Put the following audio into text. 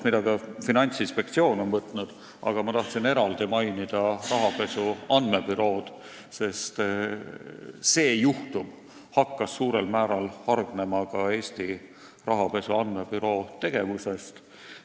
Ma tahtsin veel eraldi mainida ka rahapesu andmebürood, sest see juhtum hakkas suurel määral hargnema just nende tegevusest.